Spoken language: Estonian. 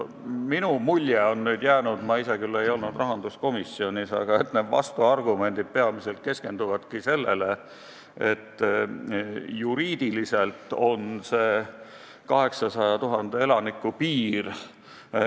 Mulle on jäänud mulje – ma ise küll ei olnud rahanduskomisjonis –, et vastuargumendid peamiselt keskenduvadki sellele, et juriidiliselt on lähtekoht 800 000 elaniku piir.